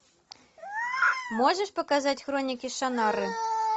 можешь показать хроники шаннары